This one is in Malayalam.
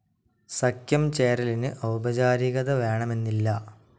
സഖ്യം ചേരലിനു ഔപചാരികത വേണമെന്നില്ല.